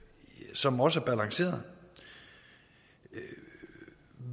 som også var balanceret at